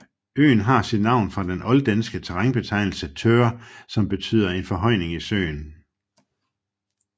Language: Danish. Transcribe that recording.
Øen har sit navn fra den olddanske terrænbetegnelse thõr som betyder en forhøjning i søen